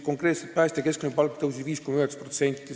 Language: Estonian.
Päästja keskmine palk tõusis 5,9%.